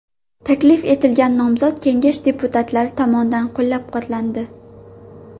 Taklif etilgan nomzod Kengash deputatlari tomonidan qo‘llab-quvvatlandi.